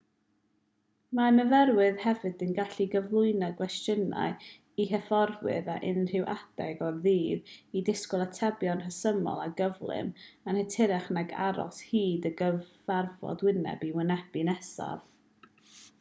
mae myfyrwyr hefyd yn gallu cyflwyno cwestiynau i hyfforddwyr ar unrhyw adeg o'r dydd a disgwyl atebion rhesymol o gyflym yn hytrach nag aros hyd y cyfarfod wyneb i wyneb nesaf